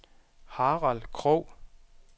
Harald Krogh